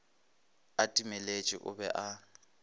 a timeletše o be a